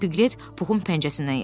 Piklet Puxun pəncəsindən yapışdı.